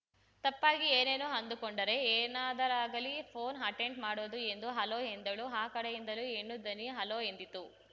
ತಪ್ಪಾಗಿ ಏನೇನೋ ಅಂದುಕೊಂಡರೆ ಏನಾದರಾಗಲಿ ಪೋನ್‌ ಅಟೆಂಡ್‌ ಮಾಡೋದು ಎಂದು ಹಲೋ ಎಂದಳು ಆ ಕಡೆಯಿಂದಲೂ ಹೆಣ್ಣು ದನಿ ಹಲೋ ಎಂದಿತು